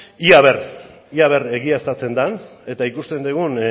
ia a ver egiaztatzen den eta ikusten dugun